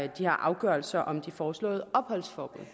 de her afgørelser om det foreslåede opholdsforbud